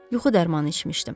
Yuxu dərmanı içmişdim.